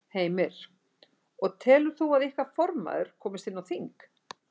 Heimir: Og telur þú að ykkar formaður komist inn á þing?